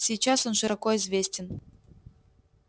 сейчас он широко известен